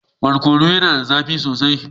Barkono yana da zafi sosai